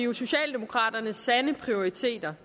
vi socialdemokraternes sande prioriteter